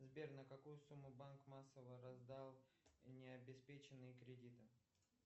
сбер на какую сумму банк массово раздал необеспеченные кредиты